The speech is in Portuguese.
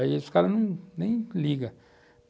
Aí os caras nem ligam.